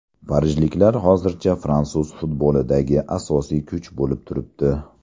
Parijliklar hozircha fransuz futbolidagi asosiy kuch bo‘lib turibdi.